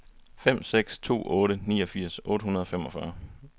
fem seks to otte niogfirs otte hundrede og femogfyrre